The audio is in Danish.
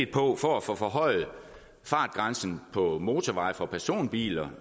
på for at få forhøjet fartgrænsen på motorveje for personbiler